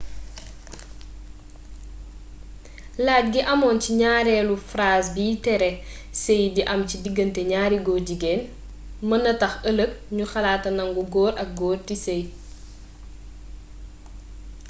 lajj gi amoon ci ñaareelu phrase biy tere séy di am ci diggante ñaari góor-jigéen mën na tax ëlëg ñu xalaat a nangu góor ak góor di séy